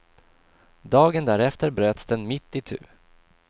Dagen därefter bröts den mitt itu.